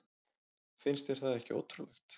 Finnst þér það ekki ótrúlegt?